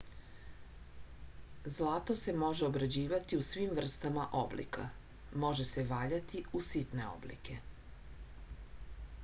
zlato se može obrađivati u svim vrstama oblika može se valjati u sitne oblike